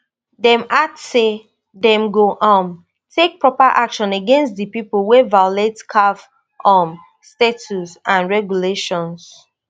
dem add say dem go um take proper action against di pipo wey violate caf um statutes and regulations